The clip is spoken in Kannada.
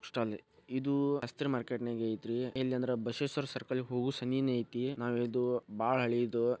ಇದು ಬುಕ್ಸ್ಟಾಲ್ ಐತಿ ಇದು ಶಾಸ್ತ್ರಿ ಮಾರ್ಕೆಟ್ನಾಗ್ ಐತಿ ಯಲ್ಲಿಅಂನ್ದ್ರ ಬಸವೇಶ್ವರ್ ಸರ್ಕಲ್ ಹೋಗು ಸನಿನಿ ಐತಿ